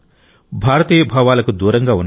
భారతీయ భావాలకు దూరంగా ఉన్నారు